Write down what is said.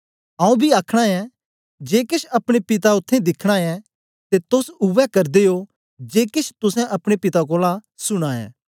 आऊँ बी आखना ऐं जे केछ अपने पिता उत्थें दिखना ऐ ते तोस उवै करदे ओ जे केछ तुसें अपने पिता कोलां सुनां ऐ